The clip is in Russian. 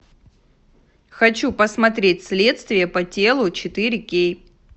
хочу посмотреть следствие по телу четыре кей